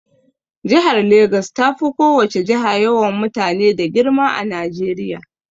Jihar Legas tafi ko wace jiha yawan mutane da girma a Najeriya.